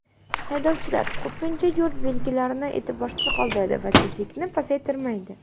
Haydovchilar ko‘pincha yo‘l belgilarini e’tiborsiz qoldiradi va tezlikni pasaytirmaydi.